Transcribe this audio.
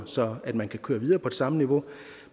så man kan køre videre på det samme niveau